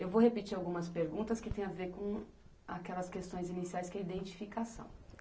Eu vou repetir algumas perguntas que têm a ver com aquelas questões iniciais, que é a identificação.